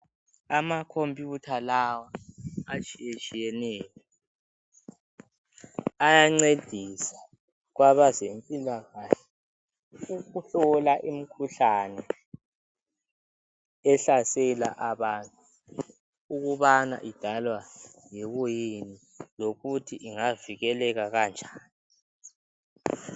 Amacomputer lawa atshiyetsiyeneyo ayancedisa kwabezempilakahle ukuhlola imkhuhlane ehlasela abantu ukubana idalwa yikuyini lokuthi ingavikeleka kanjani